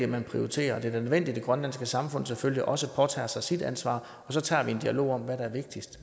man prioriterer og det er nødvendigt at det grønlandske samfund selvfølgelig også påtager sig sit ansvar og så tager vi en dialog om hvad der er vigtigst